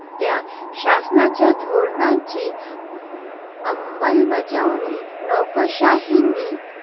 त्या शासनाच्या धोरणांची अंमलबजावणी नोकरशाहीने